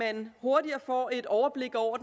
at man hurtigere får et overblik over